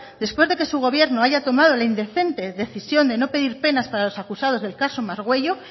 después de que su gobierno haya tomado la indecente decisión de no pedir penas para los acusados del caso margüello